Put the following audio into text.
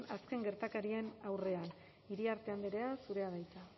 azken gertakarien aurrean iriarte andrea zurea da hitza